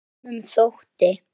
Sumum þótti!